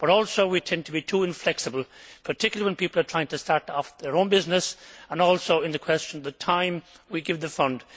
But we also tend to be too inflexible, particularly when people are trying to start their own business, and also on the matter of the time we give the fund.